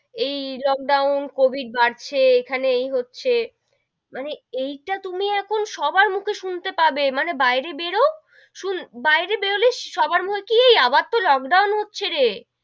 এই lockdown covid বাড়ছে এখানে এই হচ্ছে, মানে এইটা তুমি এখন সবার মুখে শুনতে পাবে মানে বাইরে বেরও, শুন~ বাইরে বেরোলেই সবার মুখে এই আবার তো লোক ডাউন হচ্ছে রে,